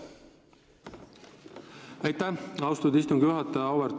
Aitäh, austatud istungi juhataja!